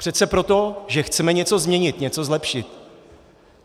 Přece proto, že chceme něco změnit, něco zlepšit.